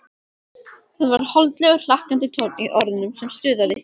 Það var holdlegur, hlakkandi tónn í orðunum sem stuðaði